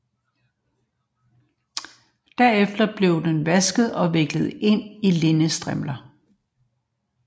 Derefter blev den vasket og viklet ind i linnedstrimler